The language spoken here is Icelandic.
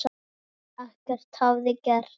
En ekkert hafði gerst.